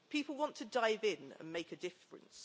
People want to dive in and make a difference.